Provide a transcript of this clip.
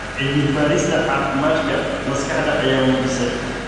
Cilmi-baarista Caafimaadka Maskaxda ayaa muujisay.